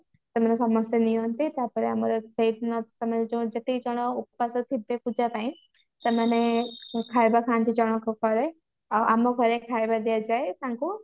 ସେମାନେ ସମସ୍ତେ ନିଅନ୍ତି ତାପରେ ଆମର ଯେତିକି ଜଣ ଓପାସ ଥିବେ ପୂଜା ପାଇଁ ସେମାନେ ଖାଇବା ଖାନ୍ତି ଜଣକ ପରେ ଆମ ଘରେ ଖାଇବା ଦିଆଯାଏ ତାଙ୍କୁ